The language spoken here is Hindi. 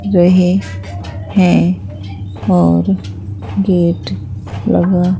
रहे हैं और गेट लगा--